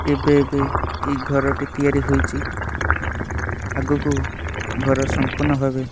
ଏବେ ଏବେ ଏଇ ଘରଟି ତିଆରି ହୋଇଚି ଆଗକୁ ଘର ସପୂର୍ଣ୍ଣ ଭାବେ --